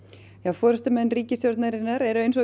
forystumenn ríkisstjórnarinnar eru eins og